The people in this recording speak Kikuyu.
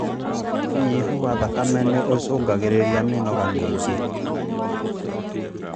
ũnyihu wa thakame nĩũcũngagĩrĩria mĩnoga mĩingĩ